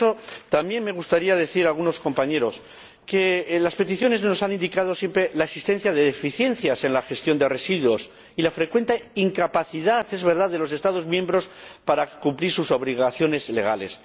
Dicho esto, también me gustaría decir a algunos compañeros que en las peticiones se nos ha indicado siempre la existencia de deficiencias en la gestión de residuos y la frecuente incapacidad, es verdad, de los Estados miembros para cumplir sus obligaciones legales.